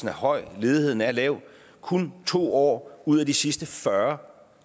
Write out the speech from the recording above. er høj ledigheden er lav kun to år ud af de sidste fyrre